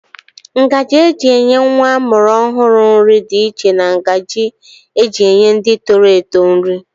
Ngaji eji enye nwa amụrụ ọhụrụ nri dị iche na ngaji eji enye ndị toro eto nri.